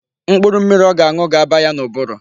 Mkpụrụ mmiri ọ ga-aṅụ ga aba ya n'ụbụrụ.